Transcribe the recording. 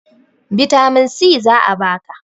bitamin si za a baka